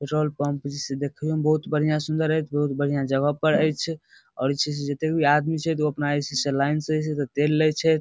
Petrol pump जे छै देखेइयो में बहुत सुंदर बढ़िया ऐच्छ बहुत बढ़िया जगह पर ऐच्छ और छै जतेक भी आदमी छै ओ ऐसी से लाइन से अपना तेल ले छैथ।